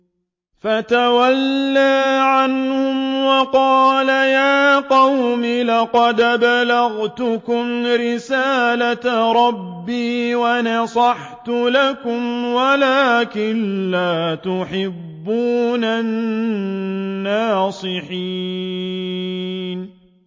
فَتَوَلَّىٰ عَنْهُمْ وَقَالَ يَا قَوْمِ لَقَدْ أَبْلَغْتُكُمْ رِسَالَةَ رَبِّي وَنَصَحْتُ لَكُمْ وَلَٰكِن لَّا تُحِبُّونَ النَّاصِحِينَ